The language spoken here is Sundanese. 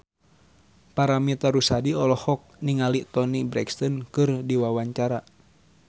Paramitha Rusady olohok ningali Toni Brexton keur diwawancara